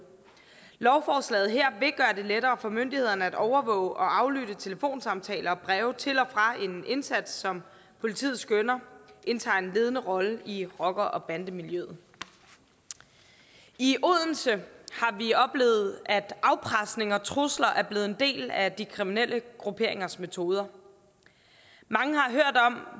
lovforslaget her vil gøre det lettere for myndighederne at overvåge og aflytte telefonsamtaler og breve til og fra en indsat som politiet skønner indtager en ledende rolle i rocker og bandemiljøet i odense har vi oplevet at afpresning og trusler er blevet en del af de kriminelle grupperingers metoder mange har hørt om